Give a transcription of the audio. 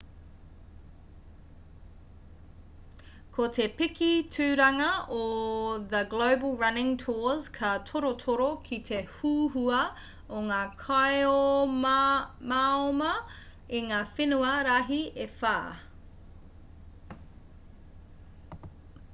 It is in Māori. ko te piki tūranga o the global running tours ka torotoro ki te huhua o ngā kaiomaoma i ngā whenua rahi e whā